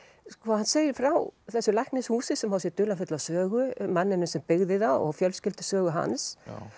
hann segir frá þessu læknishúsi sem á sér dularfulla sögu manninum sem byggði það og fjölskyldusögu hans